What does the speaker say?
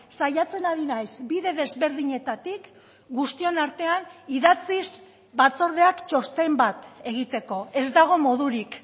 saiatzen ari naiz bide desberdinetatik guztion artean idatziz batzordeak txosten bat egiteko ez dago modurik